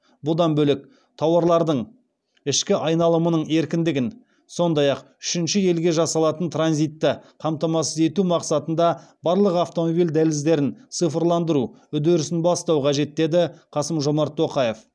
бұдан бөлек тауарлардың ішкі айналымының еркіндігін сондай ақ үшінші елге жасалатын транзитті қамтамасыз ету мақсатында барлық автомобиль дәліздерін цифрландыру үдерісін бастау қажет деді қасым жомарт тоқаев